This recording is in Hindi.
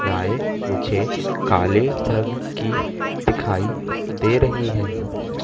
गाय मुझे काले कलर रंग की दिखाई दे रही है।